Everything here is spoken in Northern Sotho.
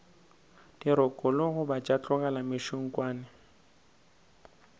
dirokolo goba tša tlolelwa mešunkwane